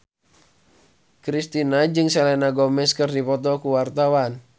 Kristina jeung Selena Gomez keur dipoto ku wartawan